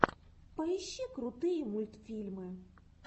поищи крутые мультфильмы